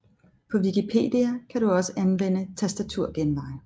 På Wikipedia kan du også anvende tastaturgenveje